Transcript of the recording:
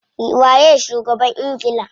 Waye shugaban ingila?